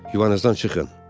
Yuvanızdan çıxın.